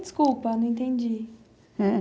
Desculpa, não entendi. Eh,